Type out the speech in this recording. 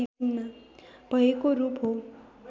भएको रूप हो